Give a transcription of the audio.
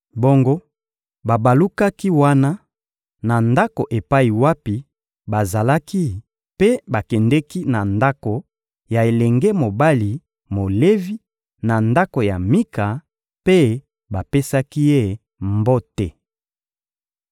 Bongo babalukaki wana, na ndako epai wapi bazalaki mpe bakendeki na ndako ya elenge mobali Molevi, na ndako ya Mika, mpe bapesaki ye mbote.